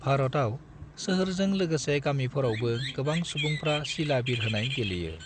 भारतआव, सोहोरजों लोगोसे गामिफोरावबो गोबां सुबुंफ्रा सिला बिरहोनाय गेलेयो।